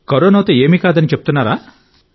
కరోనాతో ఏమీ కాదని చెప్తున్నారా